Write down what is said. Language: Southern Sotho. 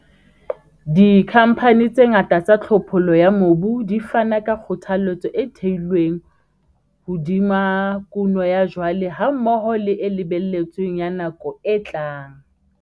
Dikhamphane tse ngata tsa tlhophollo ya mobu di fana ka kgothaletso e theilweng hodima kuno ya jwale hammoho le e lebelletsweng ya nako e tlang.